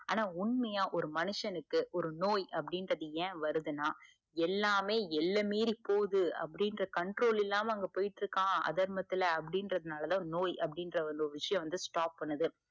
ஆனா உண்மையா ஒரு மனிஷனுக்கு ஒரு நோய் அப்டின்றது ஏன் வருதுன்னா எல்லாமே எல்ல மீறி போது அப்டின்ற controll இல்லாம அங்க போய்ட்டு இருக்காஅதமர்த்துல, அப்டின்றது நாலதா நோய் அப்டின்ற வந்து ஒரு விஷயம் வந்து stop பண்ணுது.